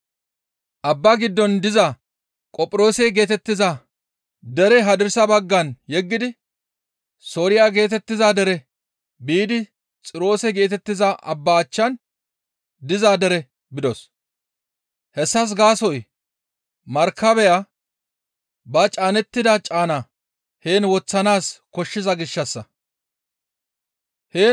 Abba giddon diza Qophiroose geetettiza dere hadirsa baggan yeggidi Sooriya geetettiza dere biidi Xiroose geetettiza abba achchan diza dere bidos; hessas gaasoykka markabeya ba caanettida caana heen woththanaas koshshiza gishshassa.